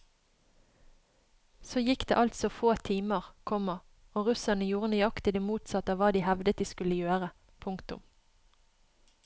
Så gikk det altså få timer, komma og russerne gjorde nøyaktig det motsatte av hva de hevdet de skulle gjøre. punktum